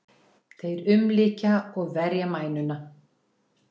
Þeir umlykja og verja mænuna.